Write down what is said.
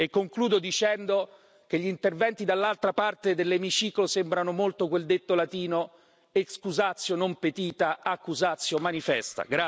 Concludo dicendo che gli interventi dall'altra parte dell'emiciclo sembrano molto quel detto latino excusatio non petita, accusatio manifesta